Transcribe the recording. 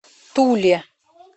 туле